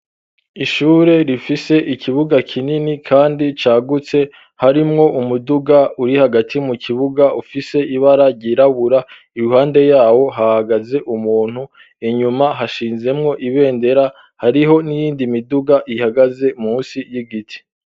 Ishure rifise ikibuga kinini kandi cagutse harimwo umuduga uri hagati mu kibuga ufise ibara ryirabura iruhande yawo hahagaze umuntu inyuma hashinzemwo ibendera hariho n'iyindi miduga ihagaze munsi y'igiti.